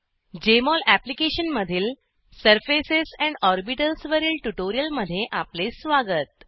Jmol अप्लिकेशनमधील surfaces and orbitals वरील ट्यूटोरियलमध्ये आपले स्वागत